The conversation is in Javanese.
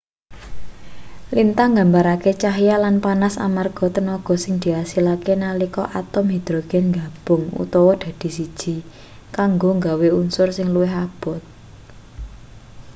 lintang nggambarake cahya lan panas amarga tenaga sing diasilake nalika atom hidrogen nggabung utawa dadi siji kanggo nggawe unsur sing luwih abot